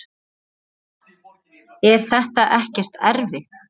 Linda: Er þetta ekkert erfitt?